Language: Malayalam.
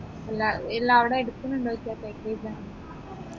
ഇല്ല ഇല്ലവിടെ എടുക്കുന്നുണ്ടോ